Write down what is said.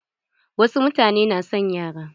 Wasu mutane na son yara.